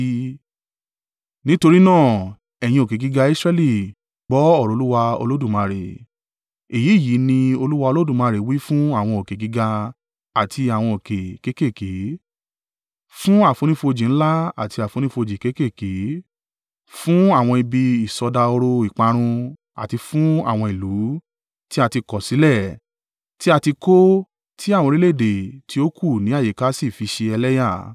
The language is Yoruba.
nítorí náà, ẹ̀yin òkè gíga Israẹli gbọ́ ọ̀rọ̀ Olúwa Olódùmarè, èyí yìí ní Olúwa Olódùmarè wí fún àwọn òkè gíga àti àwọn òkè kéékèèké, fún àfonífojì ńlá àti àfonífojì kéékèèké, fún àwọn ibi ìsọdahoro ìparun àti fún àwọn ìlú tí a ti kọ̀sílẹ̀ tí a ti kó tí àwọn orílẹ̀-èdè tí ó kù ní àyíká sì fi ṣe ẹlẹ́yà,